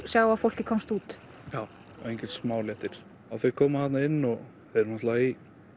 sjá að fólkið komst út já enginn smá léttir þau koma þarna inn og eru í